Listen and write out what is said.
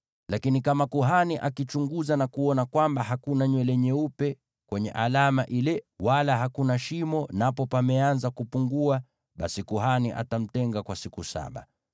Lakini kama kuhani akichunguza na kuona kwamba hakuna nywele nyeupe kwenye alama ile, wala hakuna shimo napo pameanza kupungua, basi kuhani atamtenga kwa siku saba.